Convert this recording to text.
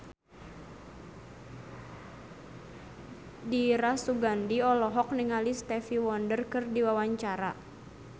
Dira Sugandi olohok ningali Stevie Wonder keur diwawancara